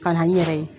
Ka na n yɛrɛ ye